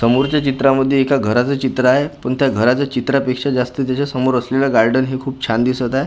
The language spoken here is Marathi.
समोरच्या चित्रामध्ये एक घराचं चित्र आहे पण त्या घराच्या चित्रापेक्षा जास्त त्याच्या समोर असलेलं गार्डन हे खूप छान दिसत आहे ज्या गार्डन --